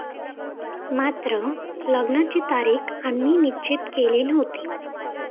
मात्र लग्नाची तारीख आम्ही निश्चित केली नव्हती.